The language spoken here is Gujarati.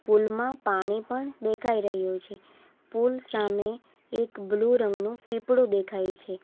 પુલ માં પાણી પણ દેખાઈ રહ્યું છે પુલ સામે એક બ્લુ રંગનું પીપળુદેખાય છે.